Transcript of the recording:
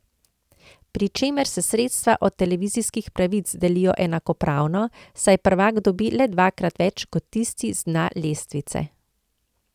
Pri čemer se sredstva od televizijskih pravic delijo enakopravno, saj prvak dobi le dvakrat več kot tisti z dna lestvice.